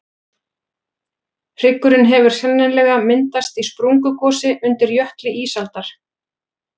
hryggurinn hefur sennilega myndast í sprungugosi undir jökli ísaldar